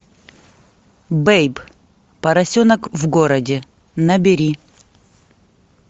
бэйб поросенок в городе набери